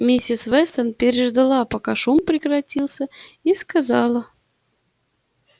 миссис вестон переждала пока шум прекратился и сказала